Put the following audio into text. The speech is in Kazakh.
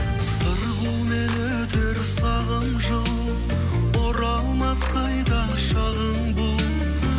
сырғумен өтер сағым жыл оралмас қайта шағың бұл